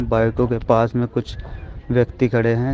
बाईकों के पास में कुछ व्यक्ति खड़े हैं।